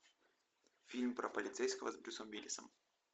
фильм про полицейского с брюсом уиллисом